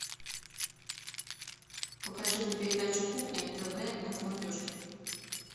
покажи мне передачу кухня тв на смотрешке